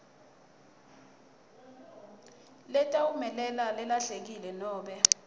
letawumelela lelahlekile nobe